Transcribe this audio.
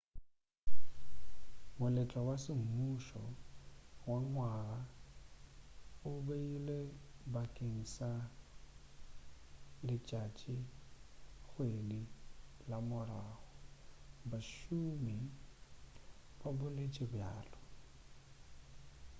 moletlo wa semmušo wa ngwaga o beilwe bakeng sa letšatšikgwedi la morago bašomi ba boletše bjalo